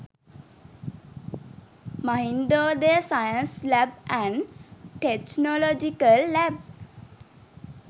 mahindodaya science lab and technological lab